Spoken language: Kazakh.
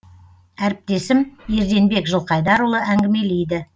әріптесім ерденбек жылқайдарұлы әңгімелейді